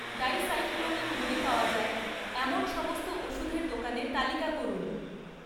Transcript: dicyclomine বড়ি পাওয়া যায় এমন সমস্ত ওষুধের দোকানের তালিকা করুন